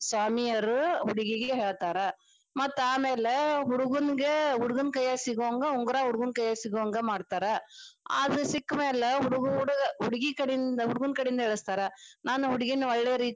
ಹಿಂಗ ಸ್ವಾಮಿಯರ ಹುಡುಗೀಗ ಹೇಳ್ತಾರ ಮತ್ತ ಆಮ್ಯಾಲ ಹುಡುಗನಗ ಹುಡುಗನ ಕೈಯಾಗ ಸಿಗುಹಂಗ ಉಂಗರಾ ಹುಡುಗನ ಕೈಯಾಗ ಸಿಗುಹಂಗ ಮಾಡ್ತಾರ ಅದ ಸಿಕ್ಕ ಮ್ಯಾಲ ಹುಡುಗ ಹುಡುಗೀ ಕಡೆಯಿಂದ ಹುಡುಗ ಕಡೆಯಿಂದ ಹೇಳಸ್ತಾರ ನಾನ ಹುಡುಗಿನ ಒಳ್ಳೆ ರೀತಿಯಿಂದ.